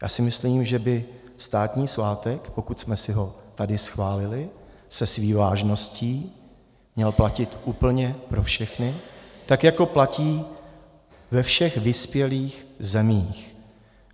Já si myslím, že by státní svátek, pokud jsme si ho tady schválili se vší vážností, měl platit úplně pro všechny, tak jako platí ve všech vyspělých zemích.